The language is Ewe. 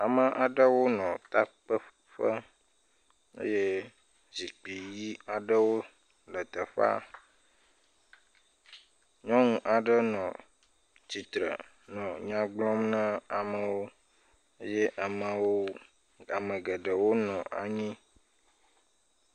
Ame aɖewo nɔ takpeƒe eye zikpui ãi aɖewo le teƒea. Nyɔnu aɖe nɔ tsitre nɔ nya gblɔm na amewo ye amewo ame geɖewo nɔ anyi.